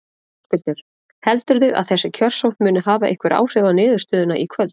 Höskuldur: Heldurðu að þessi kjörsókn muni hafa einhver áhrif á niðurstöðuna í kvöld?